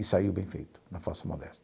E saiu bem feito, na falsa modéstia.